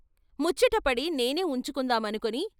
ముచ్చటపడి నేనే ఉంచుకుందా మనుకుని...